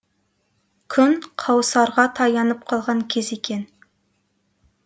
күн қауысарға таянып қалған кез екен